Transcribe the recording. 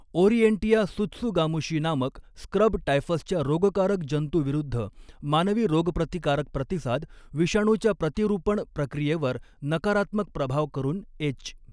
Orientia tsutsugamushi नामक scrub टायफसच्या रोगकारक जंतू विरुद्ध मानवी रोगप्रतिकारक प्रतिसाद, विषाणूच्या प्रतीरुपण प्रक्रियेवर नकारात्मक प्रभाव करून एच.